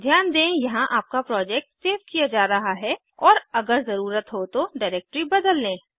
ध्यान दें यहाँ आपका प्रोजेक्ट सेव किया जा रहा है और अगर ज़रुरत हो तो डिरेक्टरी बदल लें